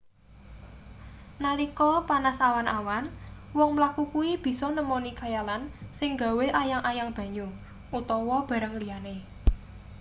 nalika panas awan-awan wong mlaku kuwi bisa nemoni khayalan sing gawe ayang-ayang banyu utawa barang liyane